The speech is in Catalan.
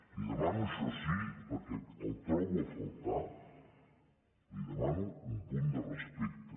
li demano això sí perquè el trobo a faltar li demano un punt de respecte